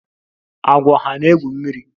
Agwọ hà na-egwu mmiri?